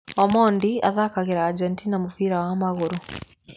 Omondi athakagĩra Argentina mũbira wa magũrũ.